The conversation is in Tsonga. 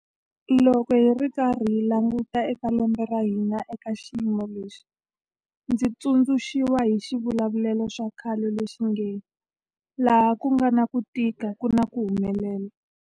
Loko hi karhi hi languta eka lembe ra hina eka xiyimo lexi, ndzi tsundzu xiwa hi xivulavulelo xa khale lexi nge 'laha ku nga na ku tika ku na ku humelela'.